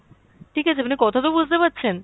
ঠিক আছে আপনি কথা তো বুঝতে পারছেন?